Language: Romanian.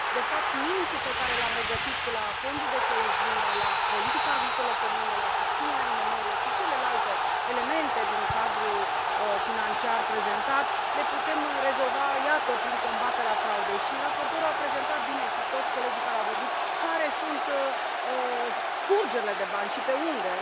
De fapt, minusul pe care l am regăsit la Fondul de coeziune, la politica agricolă comună, la susținerea IMM urilor și celelalte elemente din cadrul financiar prezentat le putem rezolva, iată, prin combaterea fraudei. Și raportorul a prezentat bine și toți colegii care au vorbit care sunt scurgerile de bani și pe unde?